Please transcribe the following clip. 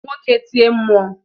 woke tie mmụọ!